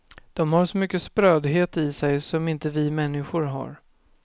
Dom har så mycket sprödhet i sig som inte vi människor har.